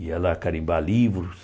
Ia lá carimbar livros.